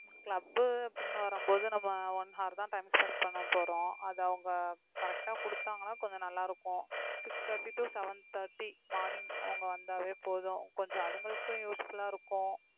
club அப்படின்னு வரும்போது நம்ம one hour தான் time spend பண்ண போறோம் அதை அவங்க correct ஆ கொடுத்தாங்கன்னா கொஞ்சம் நல்லா இருக்கும் six thirty to seven thirty morning அவங்க வந்தாவே போதும் கொஞ்சம் அதுங்களுக்கும் useful ஆ இருக்கும்